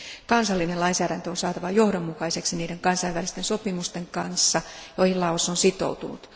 Kansallinen lainsäädäntö on saatava johdonmukaiseksi niiden kansainvälisten sopimusten kanssa, joihin Laos on sitoutunut.